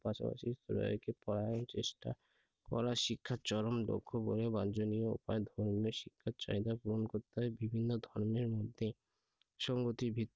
পাশাপাশি চেষ্টা করা শিক্ষার চরম লক্ষ্য হয়ে বাঞ্ছনীয় উপায়ে ধর্মীয় শিক্ষার চাহিদা পূরণ করতে হবে। বিভিন্ন ধর্মের মধ্যে সংগতি